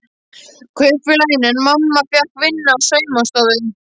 Kaupfélaginu en mamma fékk vinnu á saumastofu.